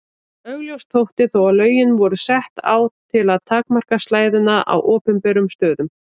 Augljóst þótti þó að lögin voru sett á til að takmarka slæðuna á opinberum stöðum.